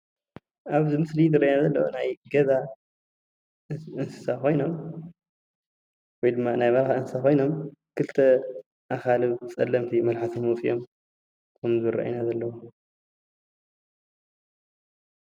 ኣብዚ ምስሊ ዝረኣይና ናይ ገዛ እንስሳ ኮይኖም ወይ ድማ ናይ በረካ እንስሳ ኮይኖም ኽልተ ኣካልብ ፀለምቲ መልሓስም ኣውፂኦም ከም ዝረአዩና ዘለው።